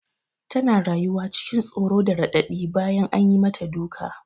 Tana rayuwa cikin tsoro da raɗaɗi bayan an yi mata duka.